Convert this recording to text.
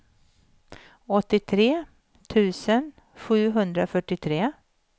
åttiotre tusen sjuhundrafyrtiotre